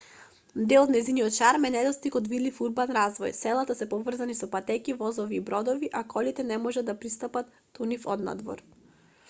дел од нејзиниот шарм е недостигот од видлив урбан развој селата се поврзани со патеки возови и бродови а колите не можат да пристапат до нив однадвор